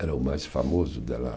era o mais famoso de lá